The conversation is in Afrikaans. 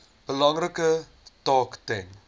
belangrike taak ten